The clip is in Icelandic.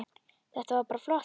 Þetta var bara flott.